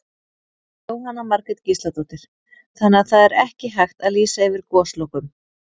Jóhanna Margrét Gísladóttir: Þannig að það er ekki hægt að lýsa yfir goslokum?